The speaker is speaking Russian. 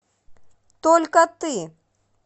только ты